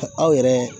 Aw yɛrɛ